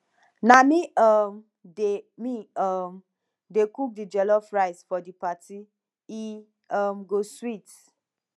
na me um dey me um dey cook di jollof rice for di party e um go sweet